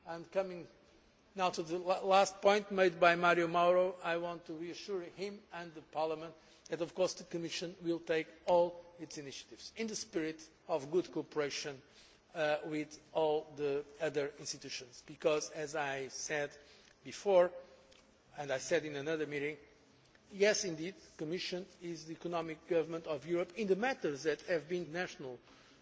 Commission is taking. I am coming now to the last point made by Mario Mauro, I want to reassure him and the Parliament that, of course, the Commission will take all its initiatives in the spirit of good cooperation with all the other institutions. As I said before and in another meeting, yes, the Commission is the economic government of Europe in matters that